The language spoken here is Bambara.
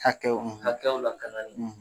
Hakɛw hakɛw lakanali.